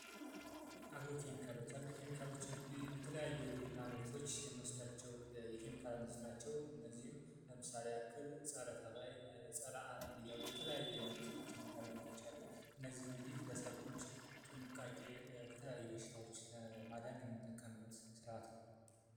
አግሮ ኬሚካሎች እንግዲህ በተለያዩ የግብርና ምርቶች ውስጥ የምንጠቀማቸው ናቸው ፀረ አረም ፀረ ተባይ የተለያየ የኬሚካል አይነቶች አሉ እነዚህ እንግዲህ ሰብል ከተለያዩ በሽታዎች ለማዳን የምንጠቀምበት ስርዓት ነው።